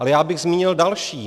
Ale já bych zmínil další.